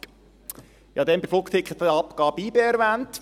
Ich habe bei der Flugticketabgabe YB erwähnt.